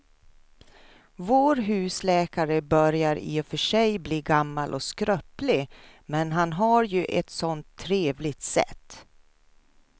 Vår husläkare börjar i och för sig bli gammal och skröplig, men han har ju ett sådant trevligt sätt!